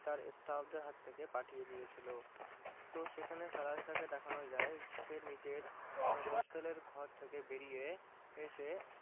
তার staff দের হাত থেকে থেকে পাঠিয়ে দিয়েছিলো তো সেখানে সাহেব কে দেখানো যায় সে নিজের hostel এর ঘর থেকে বেরিয়ে এসে